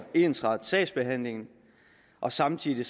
ensrette sagsbehandlingen og samtidig